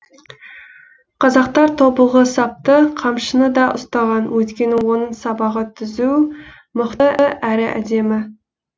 қазақтар тобылғы сапты қамшыны да ұстаған өйткені оның сабағы түзу мықты әрі әдемі